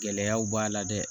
Gɛlɛyaw b'a la dɛ